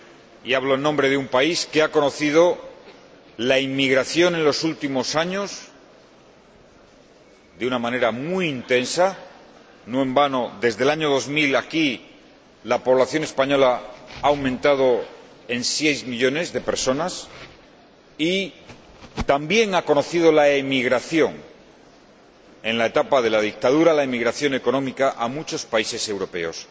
Y hablo en nombre de un país que ha conocido la inmigración, en los últimos años de una manera muy intensa, no en vano, desde el año 2000 hasta ahora, la población española ha aumentado en 6 millones de personas, y también ha conocido la emigración, en la etapa de la dictadura, la emigración económica a muchos países europeos.